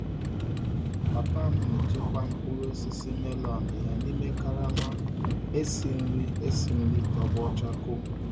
Papa m na-echekwa mkpụrụ osisi melon ya n'ime karama esi nri esi nri tọgbọ chakoo.